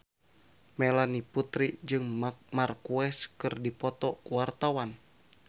Melanie Putri jeung Marc Marquez keur dipoto ku wartawan